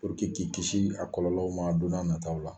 Puruke k'i kisi a kɔlɔlɔw ma don n'a nataaw la